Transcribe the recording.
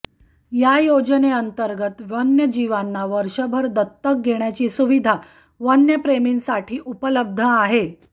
या योजनेंतर्गत वन्यजीवांना वर्षभर दत्तक घेण्याची सुविधा वन्यप्रेमींसाठी उपलब्ध आहे